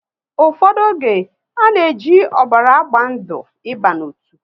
Ụfọdụ oge, a na e ji ọbara agba ndụ ị ba n'otu